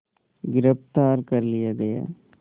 गिरफ़्तार कर लिया गया